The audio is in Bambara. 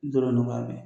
Dɔrɔn b'a mɛn